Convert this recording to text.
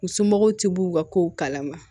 U somɔgɔw ti b'u ka kow kalama